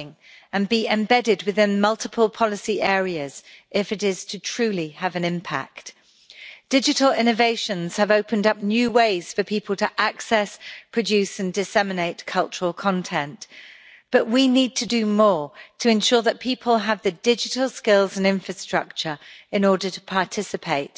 Mr President, access to culture and opportunities for creative expression are vital to enable democratic freedom and peaceful, equal societies. Member States must ensure that the socio economic, personal or cultural background of citizens does not prevent them from participating in the cultural life of their local, national or international community. Cultural participation should be cross cutting and be embedded within multiple policy areas if it is to truly have an impact. Digital innovations have opened up new ways for people to access, produce and disseminate cultural content, but we need to do more to ensure that people have the digital skills and infrastructure in order to participate.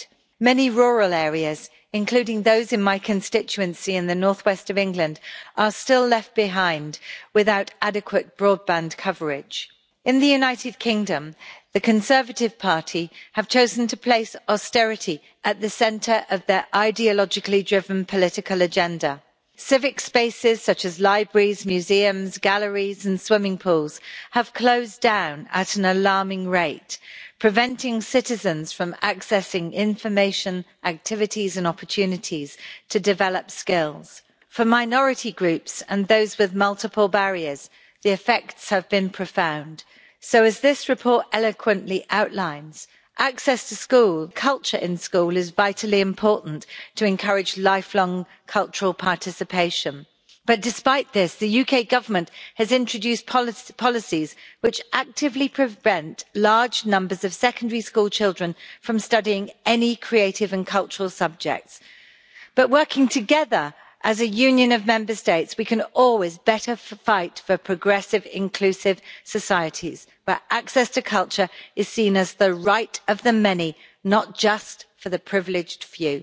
Many rural areas, including those in my constituency in North West England, are still left behind without adequate broadband coverage. In the United Kingdom, the Conservative Party has chosen to place austerity at the centre of its ideologically driven political agenda. Civic spaces such as libraries, museums, galleries and swimming pools have closed down at an alarming rate, preventing citizens from accessing information, activities and opportunities to develop skills. For minority groups and those with multiple barriers, the effects have been profound. So as this report eloquently outlines, access to culture in school is vitally important to encourage lifelong cultural participation. But despite this, the UK Government has introduced policies which actively prevent large numbers of secondary school children from studying any creative and cultural subjects. But working together as a union of Member States, we can always better fight for progressive, inclusive societies where access to culture is seen as the right of the many, not just for the privileged few.